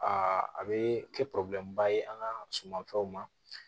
Aa a bɛ kɛ ba ye an ka sumafɛnw ma